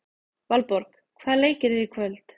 Valborg, hvaða leikir eru í kvöld?